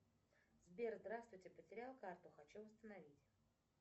сбер здравствуйте потеряла карту хочу восстановить